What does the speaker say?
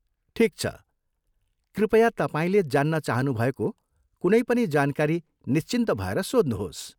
ठिक छ, कृपया तपाईँले जान्न चाहनुभएको कुनै पनि जानकारी निश्चिन्त भएर सोध्नुहोस्।